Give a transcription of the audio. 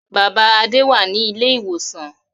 Bàbá Adé wà ní ilé-ìwòsàn.